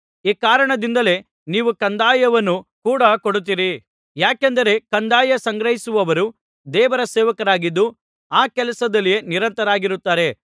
ಈ ಕಾರಣದಿಂದಲೇ ನೀವು ಕಂದಾಯವನ್ನು ಕೂಡ ಕೊಡುತ್ತೀರಿ ಯಾಕೆಂದರೆ ಕಂದಾಯ ಸಂಗ್ರಹಿಸುವವರು ದೇವರ ಸೇವಕರಾಗಿದ್ದು ಆ ಕೆಲಸದಲ್ಲಿಯೇ ನಿರತರಾಗಿರುತ್ತಾರೆ